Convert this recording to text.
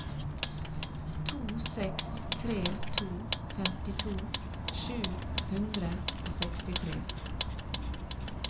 to seks tre to femtito sju hundre og sekstitre